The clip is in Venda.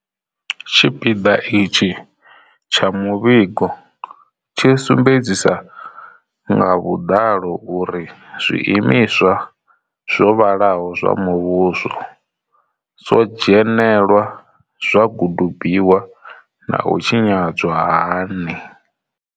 Tshipiḓa itshi tsha muvhigo tshi sumbedzisa nga vhuḓalo uri zwi imiswa zwo vhalaho zwa muvhuso zwo dzhenelelwa, zwa gudubiwa na u tshinyadzwa hani.